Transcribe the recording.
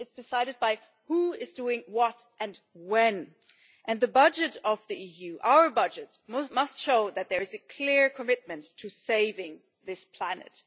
It's decided by who is doing what, and when. And the budget of the EU our budget must show that there is a clear commitment to saving this planet.